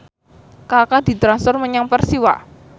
Kaka ditransfer menyang Persiwa